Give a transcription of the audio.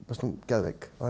fannst hún geðveik og